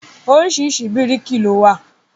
Oríṣiríṣi bíríkì ló wà.